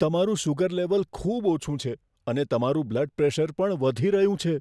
તમારું sugar level ખૂબ ઓછું છે, અને તમારું બ્લડ પ્રેશર પણ વધી રહ્યું છે.